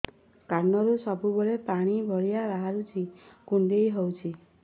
କାନରୁ ସବୁବେଳେ ପାଣି ଭଳିଆ ବାହାରୁଚି କୁଣ୍ଡେଇ ହଉଚି